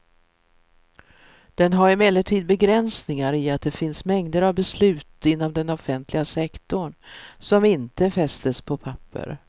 Den har emellertid begränsningar i att det finns mängder av beslut inom den offentliga sektorn som inte fästes på papper.